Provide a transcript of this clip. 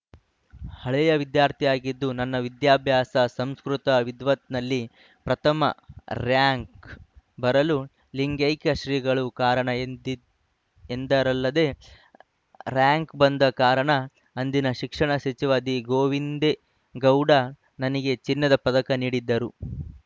ಹಳೆಯ ವಿದ್ಯಾರ್ಥಿಯಾಗಿದ್ದು ನನ್ನ ವಿದ್ಯಾಭ್ಯಾಸ ಸಂಸ್ಕೃತ ವಿದ್ವತ್‌ನಲ್ಲಿ ಪ್ರಥಮ ರೇಯಂಕ್‌ ಬರಲು ಲಿಂಗೈಕ್ಯ ಶ್ರೀಗಳು ಕಾರಣ ಎಂದರಲ್ಲದೇ ರೇಯಂಕ್‌ ಬಂದ ಕಾರಣ ಅಂದಿನ ಶಿಕ್ಷಣ ಸಚಿವ ದಿ ಗೋವಿಂದೇ ಗೌಡರು ನನಗೆ ಚಿನ್ನದ ಪದಕ ನೀಡಿದ್ದರು